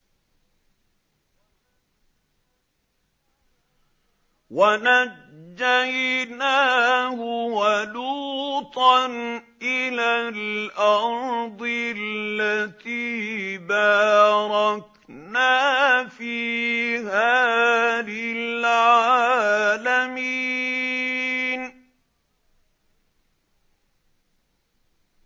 وَنَجَّيْنَاهُ وَلُوطًا إِلَى الْأَرْضِ الَّتِي بَارَكْنَا فِيهَا لِلْعَالَمِينَ